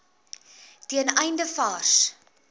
ten einde vars